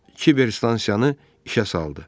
Kiber stansiyanı işə saldı.